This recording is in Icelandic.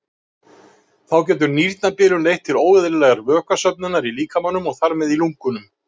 Þá getur nýrnabilun leitt til óeðlilegrar vökvasöfnunar í líkamanum og þar með í lungunum.